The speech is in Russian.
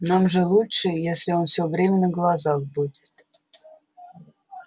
нам же лучше если он всё время на глазах будет